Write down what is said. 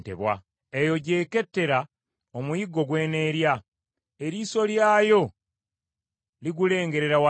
Eyo gy’ekettera omuyiggo gw’eneerya, eriiso lyayo ligulengerera wala.